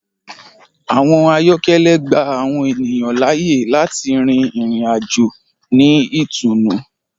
Àwọn ayọkẹlẹ gbà àwọn ènìyàn laáyè láti rìn ìrìn-àjò ni itùnù.